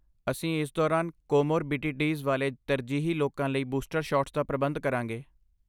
ਅਸੀਂ ਇਸ ਦੌਰਾਨ ਕੋਮੋਰਬਿਡੀਟੀਜ਼ ਵਾਲੇ ਤਰਜੀਹੀ ਲੋਕਾਂ ਲਈ ਬੂਸਟਰ ਸ਼ਾਟਸ ਦਾ ਪ੍ਰਬੰਧ ਕਰਾਂਗੇ।